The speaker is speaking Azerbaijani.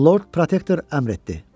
Lord Protektor əmr etdi.